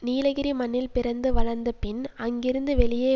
நீலகிரி மண்ணில் பிறந்து வளர்ந்து பின் அங்கிருந்து வெளியே